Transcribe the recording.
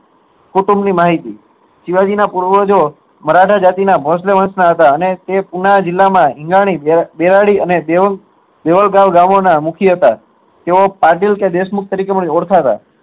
કુટુંબ ની માહિતી શિવાજી ની ના પુરાવજો મરાઠા જાતી ના ભોશલે વંશ ના હતા અને તે ગામો ના મુખ્ય હતા તેઓ પણ ઓળખાતા હતા